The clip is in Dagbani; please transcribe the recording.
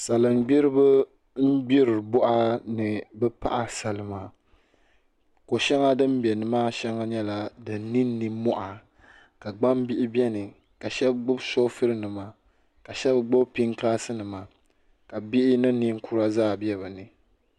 Salin gbiribi n gbiri boɣa ni bi paɣa salima ko shɛŋa din bɛ nimaa shɛŋa nyɛla din ninni moha ka gbambihi biɛni ka shab gbubi shoovul nima ka shab gbubi pingaasi nima ka bihi ni ninkura zaa bɛ bi ni